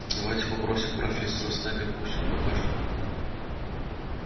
давайте попросим профессора снегга пусть он покажет нам